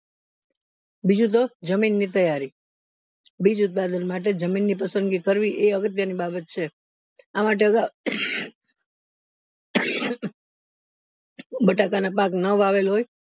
બીજું તો જમીન ની તૈયારી બીજ ઉત્પાદન માટે જમીન ની તો પસંદગી કરવી એ અગત્યની બાબત છે આ માટે અગાવ બટાકા ના પાક ના વાવેલ હોય